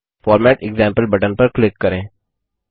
format example button पर click करें